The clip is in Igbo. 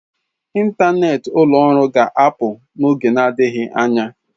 ntanet ụlọ ọrụ ga-apụ n'oge adịghị anya.